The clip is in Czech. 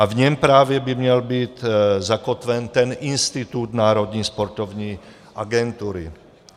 A v něm právě by měl být zakotven ten institut Národní sportovní agentury.